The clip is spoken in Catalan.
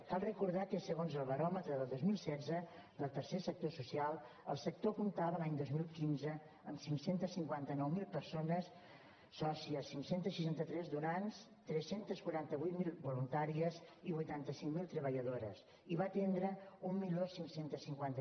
cal recordar que segons el baròmetre del dos mil setze del tercer sector social el sector comptava l’any dos mil quinze amb cinc cents i cinquanta nou mil persones sòcies cinc cents i seixanta tres donants tres cents i quaranta vuit mil voluntàries i vuitanta cinc mil treballadores i va atendre quinze cinquanta